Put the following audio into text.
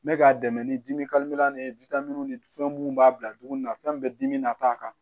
N bɛ k'a dɛmɛ ni dimi ni ni fɛn mun b'a bila dumuni na fɛn bɛ dimi nata kan